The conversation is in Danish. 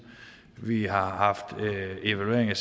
vi har haft evaluering